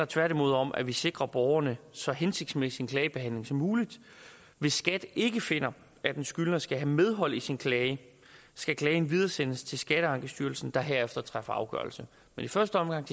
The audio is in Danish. tværtimod om at vi sikrer borgerne så hensigtsmæssig en klagebehandling som muligt hvis skat ikke finder at en skyldner skal have medhold i sin klage skal klagen videresendes til skatteankestyrelsen der herefter træffer afgørelse men i første omgang